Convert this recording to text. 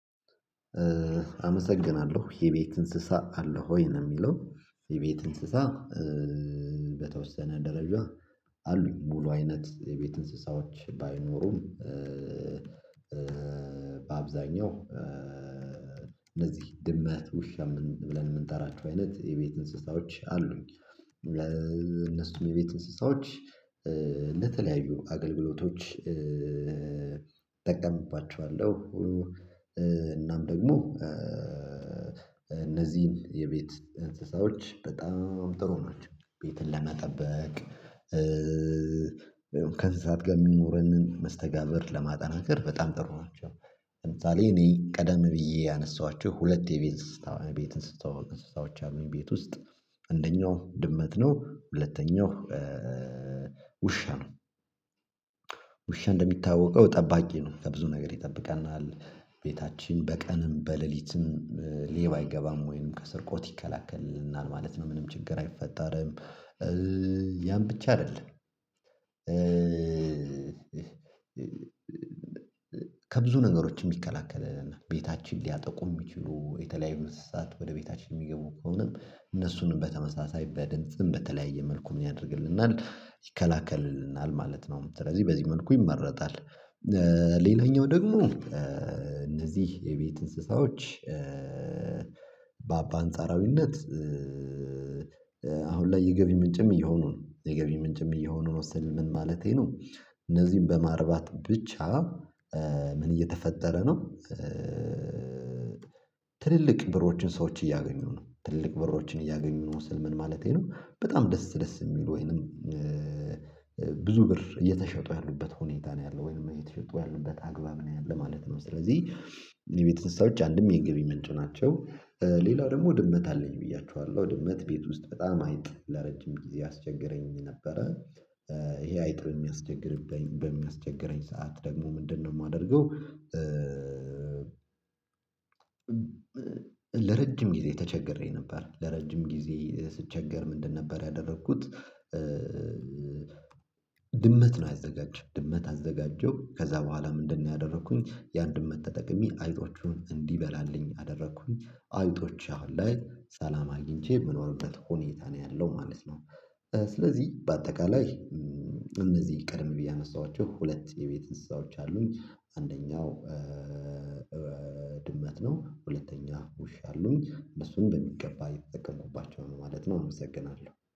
አመሰግናለሁ የቤት እንስሳ አለ ወይ? ነው የሚለው የቤት እንስሳ በተወሰነ ደረጃ አሉኝ ሙሉ አይነት የቤት እንስሳዎች ባይኖሩም። በአብዛኛው እነዚህ ድመት ውሻ የምንጠራችሁ አይነት የቤት እንስሳዎች አሉኝ። ለእነሱም የቤት እንስሳዎች ለተለያዩ አገልግሎቶች እጠቀምባቸዋለሁ ሁሉ። እናም ደግሞ እነዚህን የቤት እንስሳዎች በጣም ጥሩ ነው ቤትን ለመጠበቅ። ከዛት ጋር የሚኖረንን መስተጋብር ለማጠናከር በጣም ጥሩ ናቸው። ለምሳሌ እኔ ቀደም ብዬ ያነሳኋቸው ሁለት የቤት እንስሳዎች አሉኝ ቤት ውስጥ እንደኛው ድመት ነው ሁለተኛው ውሻ ነው። ውሻ እንደሚታወቀው ጠባቂ ነው ከብዙ ነገር ይጠብቀናል ቤታችን በቀንም በሌሊትም ሌባ አይገባም ወይንም ከስርቆት ይከላከልናል ማለት ነው ምንም ችግር አይፈጠርም። ያን ብቻ አይደለም። ከብዙ ነገሮች የሚከላከለና ቤታችን ሊያጠቁ የሚችሉ የተለያዩ አመሰግናለሁ። የቤት እንስሳ አለ ወይ ነው የሚለው? የቤት እንስሳ በተወሰነ ደረጃ አሉኝ ሙሉ አይነት የቤት እንስሳዎች ባይኖሩም ይከላከልልናል ማለት ነው። ስለዚህ በዚህ መልኩ ይመረጣል። ሌላኛው ደግሞ እነዚህ የቤት እንስሳዎች በአንጻራዊነት ይከላከልልናል ማለት ነው። ስለዚህ በዚህ መልኩ ይመረጣል። ሌላኛው ደግሞ እነዚህ የቤት እንስሳዎች በአንጻራዊነት አሁን ላይ የገቢ ምንጭም እየሆኑ ነው የገቢ ምንጭም እየሆኑ ነው። የምንወስደው ምን ማለቴ ነው? እነዚህም በማርባት ብቻ ምን እየተፈጠረ ነው? ትልልቅ ብሮችን ሰዎች እያገኙ ነው ትልልቅ በሮችን እያገኙ ነው። መውሰድ ምን ማለቴ ነው? በጣም ደስ ደስ የሚሉ ወይንም። ብዙ ብር እየተሸጡ ያሉበት ሁኔታ ነው ያለው ወይም የተሸጡ ያሉበት አግባብ ነው ያለው ማለት ነው። ስለዚህ የቤተነሳችን አንድም የገቢ ምንጭ ናቸው። ሌላው ደግሞ ድመት አለኝ ብያችኋለሁ ድመት ቤት ውስጥ በጣም አይጥ ለረጅም ጊዜ ያስቸገረኝ ነበረ። ይሄ አይጥም የሚያስቸግርበኝ በሚያስቸግረኝ ሰዓት ደግሞ ምንድነው የማደርገው? ለረጅም ጊዜ ተቸግሬ ነበር ድመት ነው። አዘጋጅ አዘጋጀው ድመት አዘጋጀው ከዛ በኋላ ምንድነው ያደረኩኝ? ያን ድመት ተጠቅሜ አይጦቹን እንዲበላልኝ አደረኩኝ አይነቶቼ አሁን ላይ ሰላም አግኝቼ የምኖርበት ሁኔታ ነው ያለው ማለት ነው። ስለዚህ በአጠቃላይ እነዚህ ቀድም ብዬ አነሳኋቸው ሁለት የቤት እንስሳዎች አሉኝ አንደኛው ድመት ነው። ሁለተኛ ውሻ አሉኝ እነሱን በሚገባ ይጠቀሙባቸዋል ማለት ነው። አመሰግናለሁ